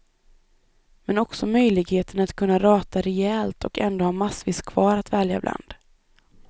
Men också möjligheten att kunna rata rejält och ändå ha massvis kvar att välja bland.